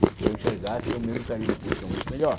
Se eu enxergasse, eu mesmo estaria na posição muito melhor.